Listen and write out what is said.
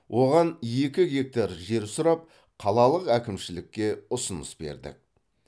оған екі гектар жер сұрап қалалық әкімшілікке ұсыныс бердік